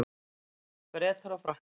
Bretar og Frakkar